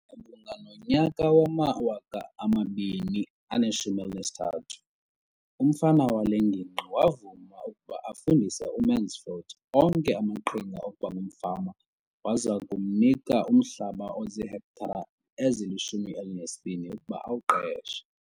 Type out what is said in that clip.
Malunga nonyaka wama-2013, umfama wale ngingqi wavuma ukuba afundise uMansfield onke amaqhinga okuba ngumfama waza wamnika umhlaba ozihektare ezili-12 ukuba awuqeshe.